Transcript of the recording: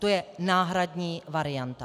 To je náhradní varianta.